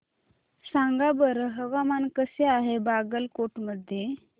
सांगा बरं हवामान कसे आहे बागलकोट मध्ये